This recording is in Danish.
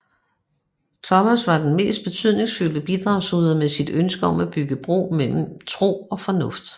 Thomas Aquinas var den mest betydningsfulde bidragsyder med sit ønske om at bygge bro mellem tro og fornuft